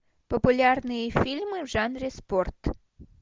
популярные фильмы в жанре спорт